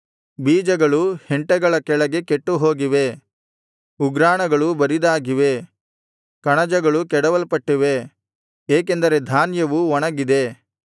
ಬೀಜಗಳು ಹೆಂಟೆಗಳ ಕೆಳಗೆ ಕೆಟ್ಟುಹೋಗಿವೆ ಉಗ್ರಾಣಗಳು ಬರಿದಾಗಿವೆ ಕಣಜಗಳು ಕೆಡವಲ್ಪಟ್ಟಿವೆ ಏಕೆಂದರೆ ಧಾನ್ಯವು ಒಣಗಿದೆ